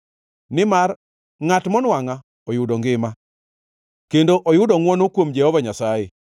Nimar ngʼat monwangʼa oyudo ngima kendo oyudo ngʼwono kuom Jehova Nyasaye.